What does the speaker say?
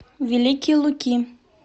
великие луки